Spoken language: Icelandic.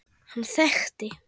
Hann þekkti